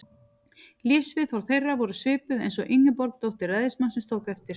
Lífsviðhorf þeirra voru svipuð, eins og Ingeborg, dóttir ræðismannsins, tók eftir.